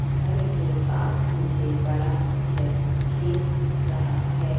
घर के पास मुझे बड़ा खैत खेत दिख रहा है।